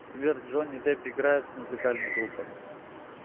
сбер джонни депп играет в музыкальных группах